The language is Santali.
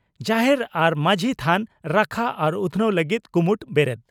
ᱡᱟᱦᱮᱨ ᱟᱨ ᱢᱟᱹᱡᱷᱤ ᱛᱷᱟᱱ ᱨᱟᱠᱷᱟ ᱟᱨ ᱩᱛᱷᱱᱟᱹᱣ ᱞᱟᱹᱜᱤᱫ ᱠᱩᱢᱩᱴ ᱵᱮᱨᱮᱫ